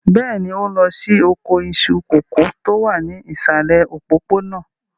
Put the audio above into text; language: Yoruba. Bẹ́ẹ̀ni, òun ló ní oko iṣu kòkó tó wà ní ìsàlẹ̀ òpópónà.